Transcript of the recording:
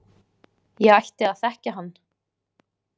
Ég ætti að þekkja hann.